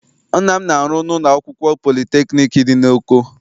Nna m na-arụ na ụlọ akwụkwọ politekniik dị n'Oko.